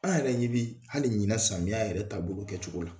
An yɛrɛ ɲɛ bi hali ɲina samiya yɛrɛ ta bolo kɛ cogo la